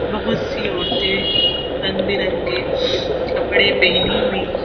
बहुत सी औरतें रंग बिरंगे कपड़े पहनी हुई।